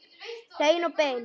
Hreinn og beinn.